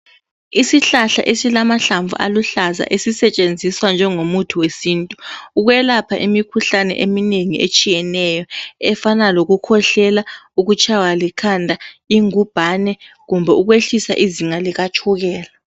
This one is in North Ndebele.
Isihlahla esilamahlamvu aluhlaza esisetshenzenziswa njengomuthi wesintu ukwelapha imikhuhlane eminengi etshiyeneyo efana lokukhwehlela, ukutshaywa likhanda, ingumbane kumbe ukwehlisa izinga likatshukela.